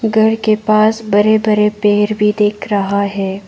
घर के पास बरे बरे पेर भी दिख रहा है।